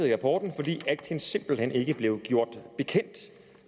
i rapporten fordi atkins simpelt hen ikke blev gjort bekendt